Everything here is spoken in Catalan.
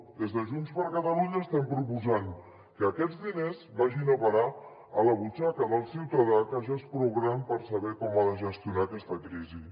des de junts per catalunya estem proposant que aquests diners vagin a parar a la butxaca del ciutadà que ja és prou gran per saber com ha de gestionar aquesta crisi